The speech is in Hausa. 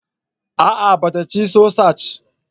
A'a ba ta cin sosaj